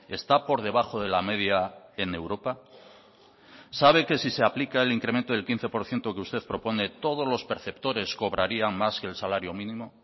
está por debajo de la media en europa sabe que si se aplica el incremento del quince por ciento que usted propone todos los perceptores cobrarían más que el salario mínimo